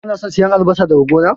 Kana son siyan albasa daga gona?